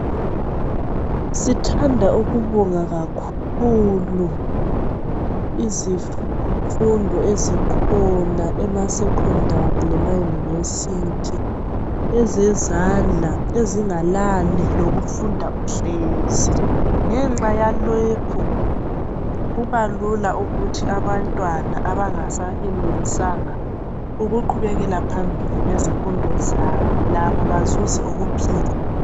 Sithanda ukubonga kakhulu izifundo ezikhonz emasecondary lemayunivesithi ezezandla ezingalani lokufinda uhlezi ngenxa yalokhu kubalula ukuthi abantwana abangasayenelisanga ukuqhubekela phambili ngezifundo zabo labo bazuze ukuphila.